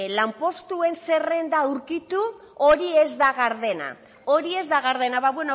lanpostuen zerrenda aurkitu hori ez da gardena hori ez da gardena ba